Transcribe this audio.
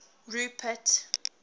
rupert